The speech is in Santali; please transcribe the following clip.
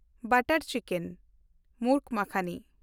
ᱵᱟᱴᱟᱨ ᱪᱤᱠᱮᱱ (ᱢᱩᱨᱜ ᱢᱟᱠᱷᱟᱱᱤ)